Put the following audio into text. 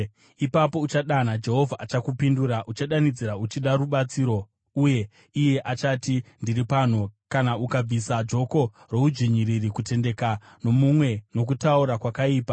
Ipapo uchadana, Jehovha achakupindura; uchadanidzira uchida rubatsiro, uye iye achati: Ndiri pano. “Kana ukabvisa joko roudzvinyiriri, kutendeka nomunwe nokutaura kwakaipa,